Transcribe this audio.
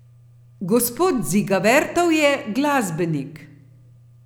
Gospod Dziga Vertov je glasbenik.